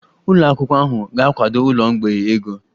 Ụlọ akwụkwọ ahụ ga-akwado ụlọ mgbei ego